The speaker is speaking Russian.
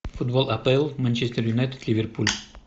футбол апл манчестер юнайтед ливерпуль